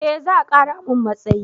Eh za a kara mun matsayi